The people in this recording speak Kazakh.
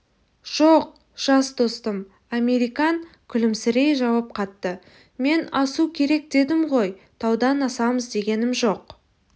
жоқ жас достым американ күлімсірей жауап қатты мен асу керек дедім ғой таудан асамыз дегенім жоқ